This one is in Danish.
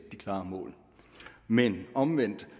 klare mål men omvendt